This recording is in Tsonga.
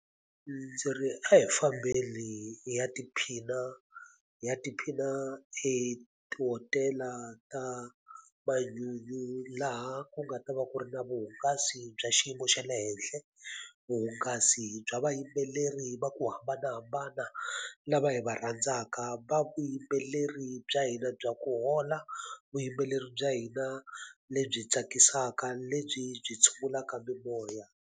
Ndzi ri a hi fambeni hi ya tiphina hi ya tiphina etihotela ta manyunyu laha ku nga ta va ku ri na vuhungasi bya xiyimo xa le henhle vuhungasi bya vayimbeleri va ku hambanahambana lava hi va rhandzaka va vuyimbeleri bya hina bya ku hola vuyimbeleri bya hina lebyi tsakisaka lebyi byi tshungulaka mimoya.